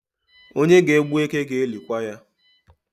Onye ga-egbu eke ga-elikwa ya